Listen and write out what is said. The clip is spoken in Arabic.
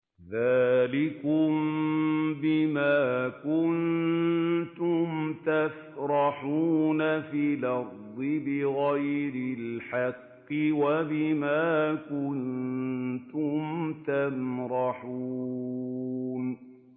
ذَٰلِكُم بِمَا كُنتُمْ تَفْرَحُونَ فِي الْأَرْضِ بِغَيْرِ الْحَقِّ وَبِمَا كُنتُمْ تَمْرَحُونَ